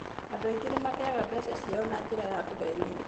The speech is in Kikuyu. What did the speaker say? Andũ aingĩ nĩ mateaga mbeca ciao na njĩra cia kũhenio.